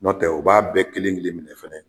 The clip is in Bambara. Nɔntɛ u b'a bɛɛ kelen-kelen minɛ fɛnɛ